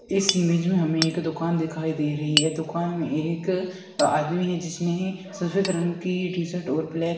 इस इमेज में हमें एक दुकान दिखाई दे रही है दुकान में एक आदमी है जिसने सफेद रंग की टी शर्ट और ब्लैक --